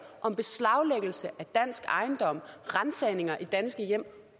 om beslaglæggelse af dansk ejendom ransagninger i danske hjem